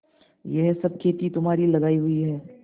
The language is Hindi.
यह सब खेती तुम्हारी लगायी हुई है